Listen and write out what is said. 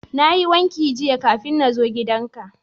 Na yi wanka jiya kafin na zo gidan ka.